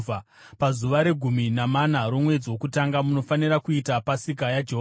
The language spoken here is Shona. “ ‘Pazuva regumi namana romwedzi wokutanga munofanira kuita Pasika yaJehovha.